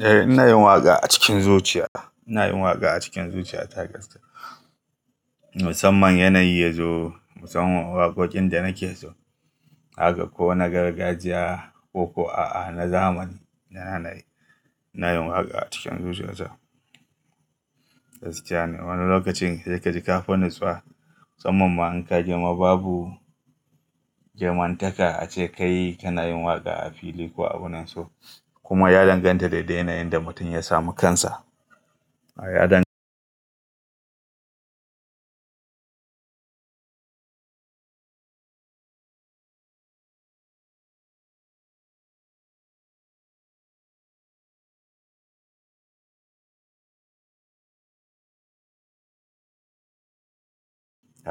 Eh ina yin waƙa a cikin zuciya. Ina yin waƙa a cikin zuciya takas. Musamman yanayi yazo, musamman waƙoƙin da nake so. Haka ko na gargajiya koko aa na zamani na nanaye. Ina yin waƙa a cikin zuciya ta. Gaskiya ne Wani lokacin he kaji ka fi nutsuwa. Musamman ma in ka ji ma babu girmantaka ace kai kana yin waƙa a fili ko abun nan so. Kuma ya danganta da yanayin da mutum ya samu kansa. Ya